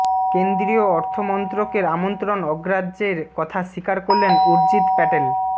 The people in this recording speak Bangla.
কেন্দ্রীয় অর্থমন্ত্রকের আমন্ত্রণ অগ্রাহ্যের কথা স্বীকার করলেন উর্জিত প্যাটেল